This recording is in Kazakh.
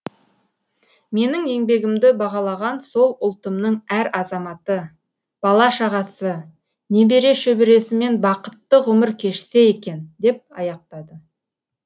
менің еңбегімді бағалаған сол ұлтымның әр азаматы бала шағасы немере шөбересімен бақытты ғұмыр кешсе екен деп аяқтады